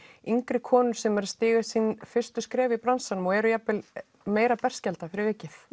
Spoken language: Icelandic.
yngri konur sem eru að stíga sín fyrstu skref í bransanum og eru jafnvel meira berskjaldað fyrir vikið